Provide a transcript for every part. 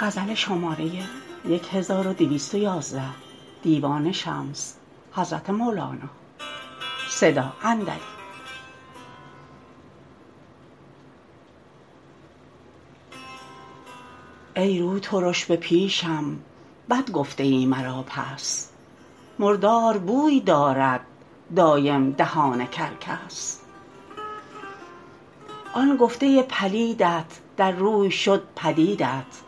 ای روترش به پیشم بد گفته ای مرا پس مردار بوی دارد دایم دهان کرکس آن گفته پلیدت در روی شدت پدیدت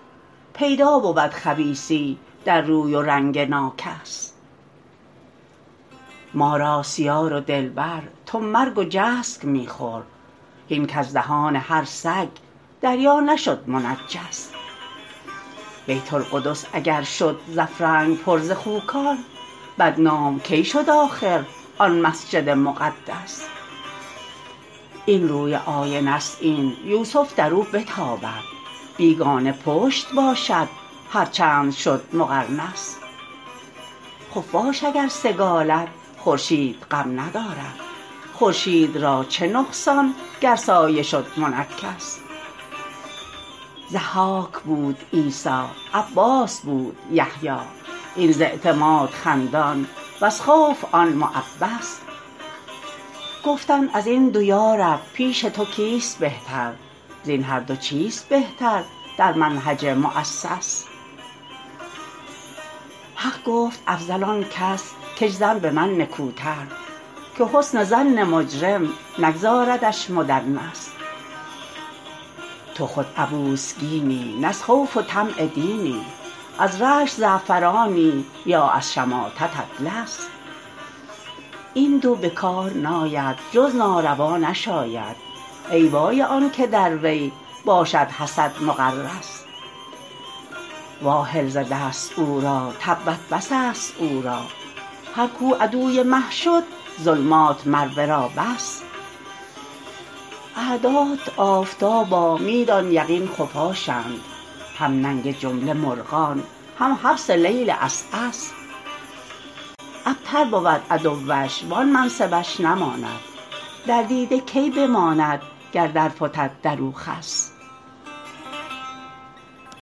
پیدا بود خبیثی در روی و رنگ ناکس ما راست یار و دلبر تو مرگ و جسک می خور هین کز دهان هر سگ دریا نشد منجس بیت القدس اگر شد ز افرنگ پر از خوکان بدنام کی شد آخر آن مسجد مقدس این روی آینه ست این یوسف در او بتابد بیگانه پشت باشد هر چند شد مقرنس خفاش اگر سگالد خورشید غم ندارد خورشید را چه نقصان گر سایه شد منکس ضحاک بود عیسی عباس بود یحیی این ز اعتماد خندان وز خوف آن معبس گفتند از این دو یا رب پیش تو کیست بهتر زین هر دو چیست بهتر در منهج مؤسس حق گفت افضل آنست کش ظن به من نکوتر که حسن ظن مجرم نگذاردش مدنس تو خود عبوس گینی نه از خوف و طمع دینی از رشک زعفرانی یا از شماتت اطلس این دو به کار ناید جز ناروا نشاید ای وای آن که در وی باشد حسد مغرس واهل ز دست او را تبت بس است او را هر کو عدوی مه شد ظلمات مر ورا بس اعدات آفتابا می دان یقین خفاشند هم ننگ جمله مرغان هم حبس لیل عسعس ابتر بود عدوش وان منصبش نماند در دیده کی بماند گر درفتد در او خس